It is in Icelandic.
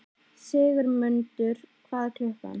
Sigurmundur, hvað er klukkan?